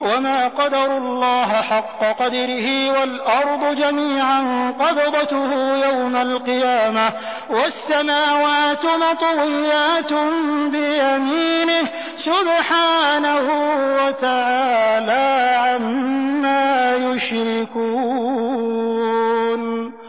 وَمَا قَدَرُوا اللَّهَ حَقَّ قَدْرِهِ وَالْأَرْضُ جَمِيعًا قَبْضَتُهُ يَوْمَ الْقِيَامَةِ وَالسَّمَاوَاتُ مَطْوِيَّاتٌ بِيَمِينِهِ ۚ سُبْحَانَهُ وَتَعَالَىٰ عَمَّا يُشْرِكُونَ